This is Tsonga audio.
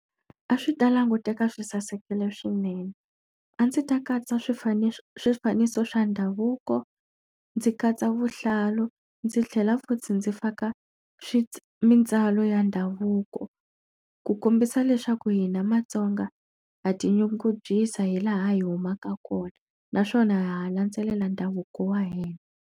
A swi ta languteka swi sasekile swinene. A ndzi ta katsa swifaniso swifaniso swa ndhavuko, ndzi katsa vuhlalu, ndzi tlhela ndzi faka mintswalo ya ndhavuko. Ku kombisa leswaku hina matsonga ha tinyungubyisa hi laha hi humaka kona, naswona ha ha landzelela ndhavuko wa hina.